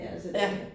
Ja